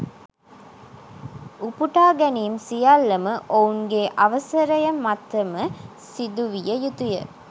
උපුටා ගැනීම් සියල්ලම ඔවුන්ගේ අවසරය මතම සිදුවිය යුතුය